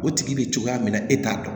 O tigi be cogoya min na e t'a dɔn